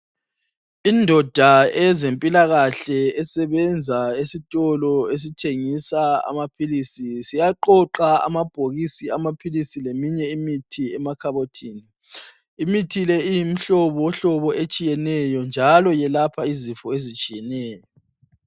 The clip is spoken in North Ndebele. Indoda eyezempilakahle sesebenza esitolo esithengisa amaphilisi. Siyaqoqa amabhokisi amaphilisi leminye imithi emakhabothini. Imithi le iyimihlobohlobo etshiyeneyo njalo yelapha izifo ezitshiyeneyo.